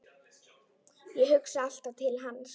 Ég hugsa alltaf til hans.